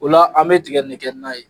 O la an bɛ tiga in de kɛ na ye